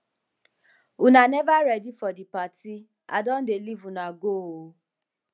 una never ready for the party i don dey leave una go oo